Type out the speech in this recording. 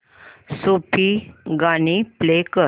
सूफी गाणी प्ले कर